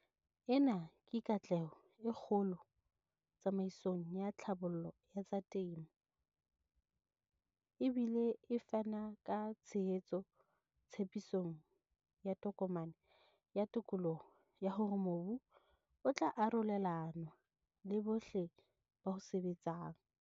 Ena ke katleho e kgolo tsamaisong ya tlhabollo ya tsa temo, e bile e fana ka tshehetso tshepisong ya Tokomane ya Tokoloho ya hore mobu o tla arolelanwa le bohle ba o sebetsang.